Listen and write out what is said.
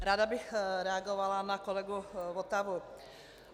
Ráda bych reagovala na kolegu Votavu.